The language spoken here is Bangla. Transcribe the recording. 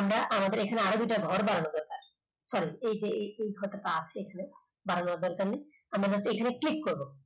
আমরা আমাদের এখানে আরো দুইটা ঘর বানানো যাক এই যে এই ঘরটা তো আছে এখানে বানানোর দরকার নাই আমরা এখানে click করব